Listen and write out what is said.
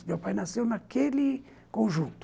Meu pai nasceu naquele conjunto.